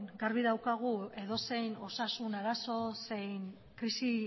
garbi daukagu edozein osasun arazo zein krisi